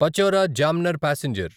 Pachora Jamner passenger